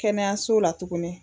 Kɛnɛyaso la tuguni